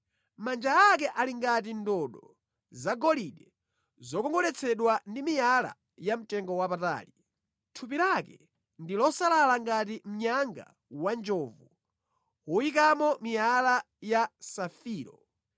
Manja ake ali ngati ndodo zagolide zokongoletsedwa ndi miyala yamtengowapatali. Thupi lake ndi losalala ngati mnyanga wanjovu woyikamo miyala ya safiro.